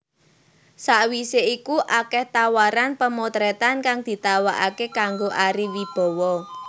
Sawisé iku akèh tawaran pamotrètan kang ditawakaké kanggo Ari Wibowo